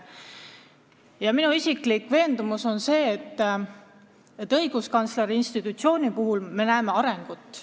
Ja minu isiklik veendumus on see, et õiguskantsleri institutsiooni töös me näeme arengut.